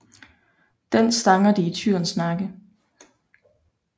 Den stanger de i tyrens nakke